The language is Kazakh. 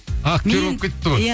актер болып кетіпті ғой иә